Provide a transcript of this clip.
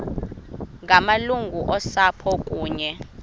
ngamalungu osapho kunye